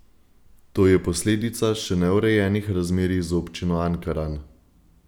To je posledica še neurejenih razmerij z občino Ankaran.